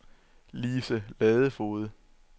Lise Ladefoged